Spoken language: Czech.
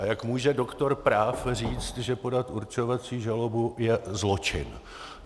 A jak může doktor práv říct, že podat určovací žalobu je zločin.